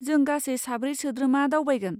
जों गासै साब्रै सोद्रोमा दावबायगोन।